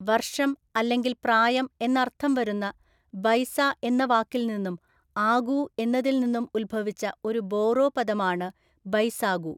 വർഷം അല്ലെങ്കിൽ പ്രായം എന്നർത്ഥം വരുന്ന ബൈസ എന്ന വാക്കിൽ നിന്നും ആഗൂ എന്നതിൽ നിന്നും ഉത്ഭവിച്ച ഒരു ബോറോ പദമാണ് ബൈസാഗു.